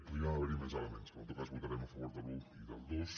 podrien haver hi més elements però en tot cas votarem a favor de l’un i del dos